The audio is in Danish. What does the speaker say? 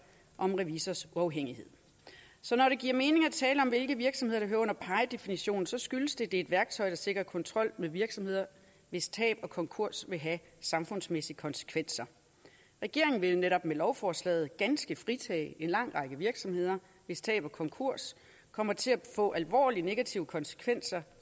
om revisorers uafhængighed så når det giver mening at tale om hvilke virksomheder der hører under pie definitionen skyldes det at det er et værktøj der sikrer kontrol med virksomheder hvis tab og konkurs vil have samfundsmæssige konsekvenser regeringen vil netop med lovforslaget ganske fritage en lang række virksomheder hvis tab og konkurs kommer til at få alvorlige negative konsekvenser